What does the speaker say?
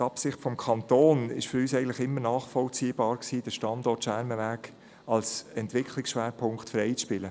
Die Absicht des Kantons, den Standort Schermenweg als ESP freizuspielen, war für uns eigentlich immer nachvollziehbar.